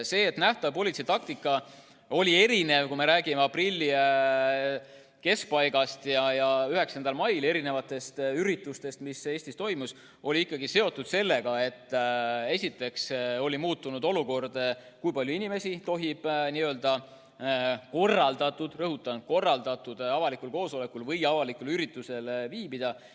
See, et nähtav politsei taktika oli erinev, kui me räägime aprilli keskpaigast ja 9. mai üritustest, mis Eestis toimusid, oli ikkagi seotud sellega, et oli muutunud olukord, kui palju inimesi tohib korraldatud – rõhutan: korraldatud – avalikul koosolekul või üldse avalikul üritusel viibida.